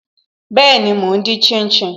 Be, mo ń din shin shin